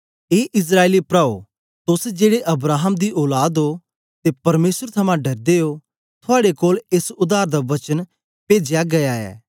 ए इस्राएली प्राओ तोस जेड़े अब्राहम दी औलाद ओ ते परमेसर थमां डरदे ओ थुआड़े कोल एस उद्धार दा वचन पेजया गीया ऐ